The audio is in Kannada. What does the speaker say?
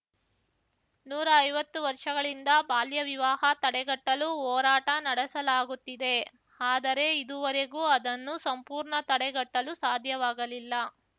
ನೂರಾ ಐವತ್ತು ವರ್ಷಗಳಿಂದ ಬಾಲ್ಯ ವಿವಾಹ ತಡೆಗಟ್ಟಲು ಹೋರಾಟ ನಡೆಸಲಾಗುತ್ತಿದೆ ಆದರೆ ಇದುವರೆಗೂ ಅದನ್ನು ಸಂಪೂರ್ಣ ತಡೆಗಟ್ಟಲು ಸಾಧ್ಯವಾಗಲಿಲ್ಲ